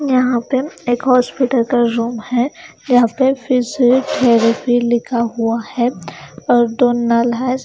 यहाँ पे एक हॉस्पिटल का रूम है यहाँ पे फिजिओ थेरेपी लिखा हुआ है ।